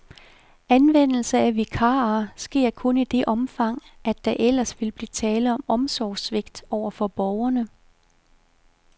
Anvendelse af vikarer sker kun i det omfang, at der ellers vil blive tale om omsorgssvigt over for borgerne.